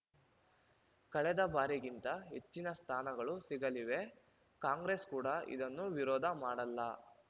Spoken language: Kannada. ಕಳೆದ ಬಾರಿಗಿಂತ ಹೆಚ್ಚಿನ ಸ್ಥಾನಗಳು ಸಿಗಲಿವೆ ಕಾಂಗ್ರೆಸ್‌ ಕೂಡ ಇದನ್ನು ವಿರೋಧ ಮಾಡಲ್ಲ